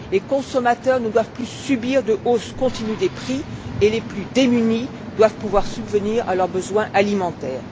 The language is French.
les consommateurs ne doivent plus subir de hausses continues des prix et les plus démunis doivent pouvoir subvenir à leurs besoins alimentaires.